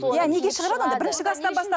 иә неге шығырады андай бірінші класстан бастап